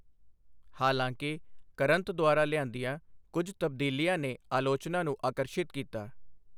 ਹਾਲਾਂਕਿ, ਕਰੰਤ ਦੁਆਰਾ ਲਿਆਂਦੀਆਂ ਕੁਝ ਤਬਦੀਲੀਆਂ ਨੇ ਅਲੋਚਨਾ ਨੂੰ ਆਕਰਸ਼ਿਤ ਕੀਤਾ।